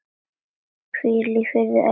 Hvíl í friði, elsku Raggý.